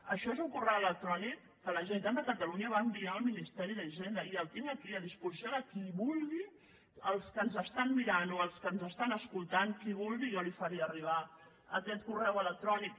això és un correu electrònic que la generalitat de catalunya va enviar al ministeri d’hisenda i el tinc aquí a disposició de qui vulgui dels que ens estan mirant o dels que ens estan escoltant qui ho vulgui jo li faré arribar aquest correu electrònic